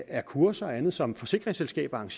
er kurser og andet som forsikringsselskaberne